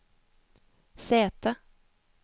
sete